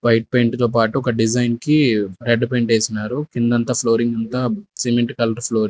white paint తో పాటు ఒక డిజైన్ కి రెడ్డు పెయింట్ ఏసిన్నారు కిందంతా ఫ్లోరింగ్ కి అంతా సిమెంట్ కలర్ ఫ్లోరింగ్ --